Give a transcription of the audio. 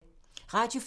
Radio 4